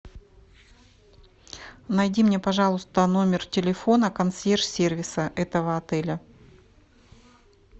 найди мне пожалуйста номер телефона консьерж сервиса этого отеля